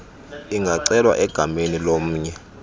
ingacelwa egameni lomnye